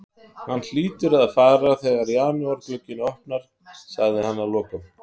Hann hlýtur að fara þegar janúarglugginn opnar, sagði hann að lokum.